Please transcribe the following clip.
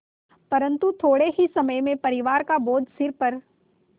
परन्तु थोडे़ ही समय में परिवार का बोझ सिर पर